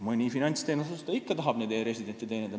Mõni finantsteenuse osutaja ikka tahab neid e-residente teenindada.